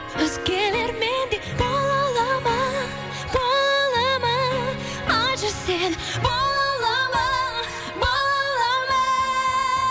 өзгелер мендей бол алады ма бола алады ма айтшы сен бола алады ма бола алады ма